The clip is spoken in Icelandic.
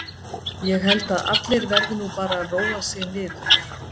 Ég held að allir verði nú bara að róa sig niður.